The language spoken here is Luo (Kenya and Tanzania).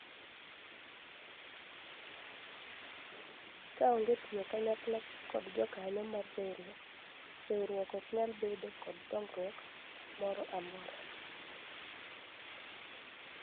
kaonge tiyo kanyakla kod jokanyo mar riwruok ,riwruok ok nyal bedo kod dongruok moro amora